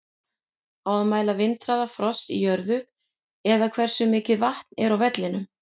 Á að mæla vindhraða, frost í jörðu eða hversu mikið vatn er á vellinum?